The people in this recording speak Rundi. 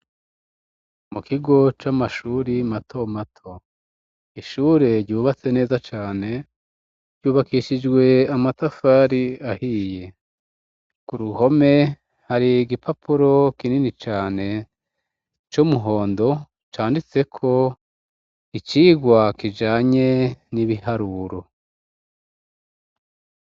Mu kigo c'amashure mato mato, ishure ryubatse neza cane ry'ubakishijwe amatafari ahiye, k'uruhome hari igipapuro kinini cane c'umuhondo canditseko icigwa kijanye n'ibiharuro.